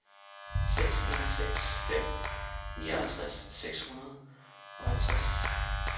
seks en seks fem nioghalvtreds seks hundrede og halvtreds